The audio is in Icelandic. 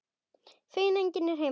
Feginn að enginn er heima.